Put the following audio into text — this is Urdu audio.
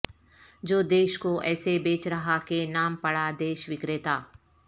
جو دیش کو ایسے بیچ رہا کہ نام پڑا دیش وکریتا